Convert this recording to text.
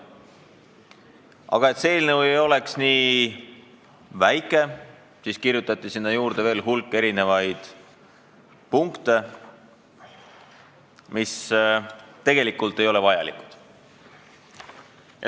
Aga et see eelnõu ei oleks nii lühike, siis kirjutati sinna veel hulk punkte, mis tegelikult ei ole vajalikud.